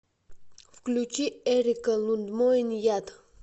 включить эрика лундмоен яд